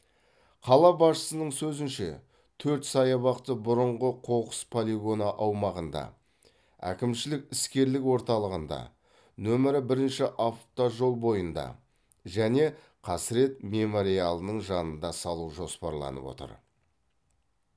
қала басшысының сөзінше төрт саябақты бұрынғы қоқыс полигоны аумағында әкімшілік іскерлік орталығында нөмірі бірінші автожол бойында және қасірет мемориалының жанында салу жоспарланып отыр